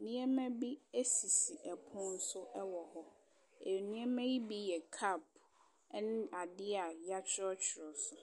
nneɛma bi esisi ɛpono so ɛwɔ hɔ. Nneɛma yi bi yɛ kap ɛne ade a y'atwerɛtwerɛ so.